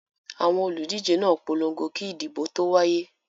Àwọn olùdíje náà polongo kí ìdìbò tó wáyé.